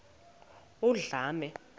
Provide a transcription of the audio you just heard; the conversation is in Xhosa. undlambe